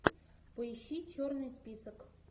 поищи черный список